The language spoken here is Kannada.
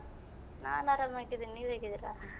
ನಾನ್ ಆರಾಮಾಗಿದ್ದೇನೆ ನೀವು ಹೇಗಿದ್ದೀರಾ?